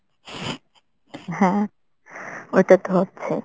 হ্যাঁ। ওইটাতো হচ্ছেই।